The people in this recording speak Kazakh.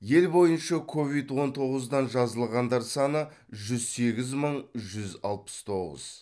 ел бойынша ковид он тоғыздан жазылғандар саны жүз сегіз мың жүз алпыс тоғыз